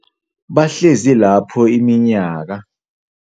Bahlezi lapho iminyaka.